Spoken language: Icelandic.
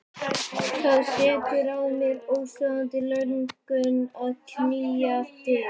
Það setur að mér óstöðvandi löngun að knýja dyra.